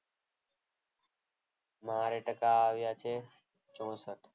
મારે ટકા આવ્યા છે ચોસઠ.